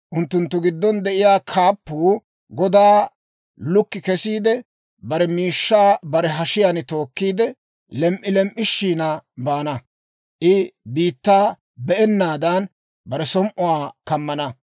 «Unttunttu giddon de'iyaa kaappuu godaa lukki kesiide, bare miishshaa bare hashiyaan tookkiide, lem"i lem"ishina baana; I biittaa be'ennaadan, bare som"uwaa kammana.